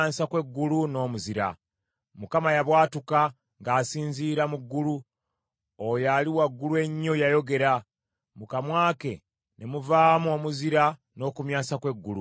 Mukama yabwatuka ng’asinziira mu ggulu; oyo Ali Waggulu Ennyo yayogera; mu kamwa ke ne muvaamu omuzira n’okumyansa kw’eggulu.